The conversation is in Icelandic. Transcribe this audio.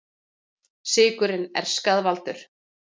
Sykurinn er skaðvaldur